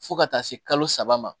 Fo ka taa se kalo saba ma